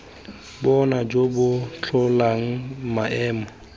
bona jo bo tlholang maemo